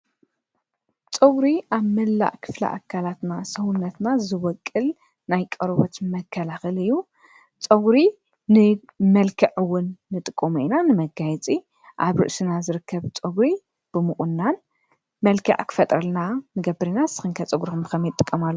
ፀጕሪ ኣብ መላእ ክፍሊ ኣካላትና ሰዉነትና ዝበቑል ናይ ቆርበት መከላኽሊ እዩ፡፡ ፀጕሪ ንመልክዕውን ንጥመሉ ኢና፡፡ ንመጋየፂ ኣብ ርእስና ዝርከብ ፀጕሪ ብምቑናን መልከዕ ኽፈጠረልና ንገብር ኢና፡፡ ንስኽን ከ ፀጕርኽ ንከመይ ትጥቀማሉ?